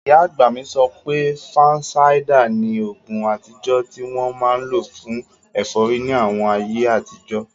Ìyá àgbà mi sọ pé, fansáídà ni oògùn àtijọ́ tí wọ́n máa n lò fún ẹ̀fọ́rí ní àwọn ayé àtijọ́